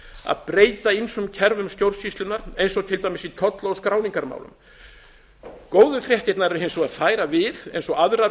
að breyta ýmsum kerfum stjórnsýslunnar eins og til dæmis í tolla og skráningarmálum góðu fréttirnar eru hins vegar þær að við eins og aðrar